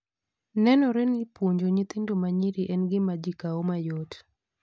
Nenore ni puonjo nyithindo ma nyiri en gima ji kawo mayot.